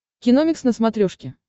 киномикс на смотрешке